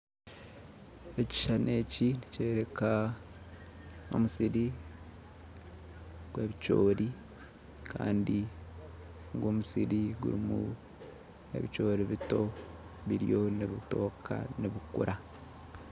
Ekishushani eki nikyoreka omusiri gwebicoori Kandi omusiri gurimu ebicoori bito biriyo nibitooka nibikura